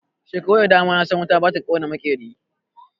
Shekaru da dama na san wuta ba ta kona maƙeri.